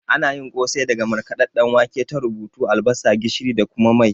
Ana yin kosai daga markaɗadɗen wake, tarubu, albasa, gishiri da kuma mai